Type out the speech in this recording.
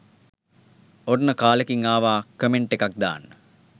ඔන්න කාලෙකින් ආවා කමෙන්ට් එකක් දාන්න